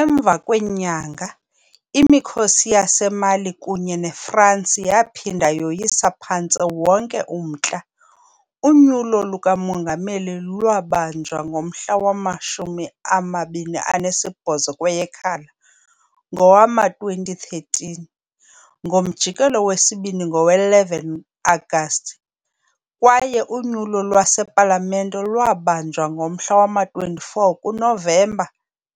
Emva kwenyanga, imikhosi yaseMali kunye neFransi yaphinda yoyisa phantse wonke umntla, unyulo lukamongameli lwabanjwa ngomhla wama-28 kweyeKhala ngowama-2013, ngomjikelo wesibini ngowe-11 Agasti, kwaye unyulo lwasepalamente lwabanjwa ngomhla wama-24 kuNovemba